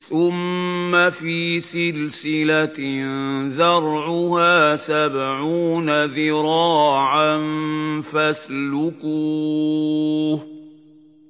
ثُمَّ فِي سِلْسِلَةٍ ذَرْعُهَا سَبْعُونَ ذِرَاعًا فَاسْلُكُوهُ